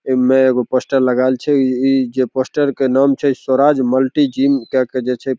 इमें एगो पोस्टर लगाएल छे ई-ई जे पोस्टर के नाम छे स्वराज मल्टी जिम करके जे छे।